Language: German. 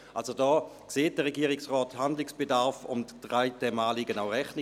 Also, da sieht der Regierungsrat Handlungsbedarf und trägt dem Anliegen der SAK auch Rechnung.